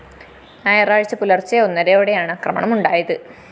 ഞായറാഴ്ച പുലർച്ചെ ഒന്നരയോടെയാണ് ആക്രമണം ഉണ്ടായത്